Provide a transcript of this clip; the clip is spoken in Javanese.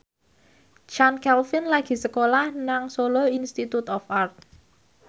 Chand Kelvin lagi sekolah nang Solo Institute of Art